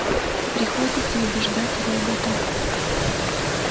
приходится убеждать робота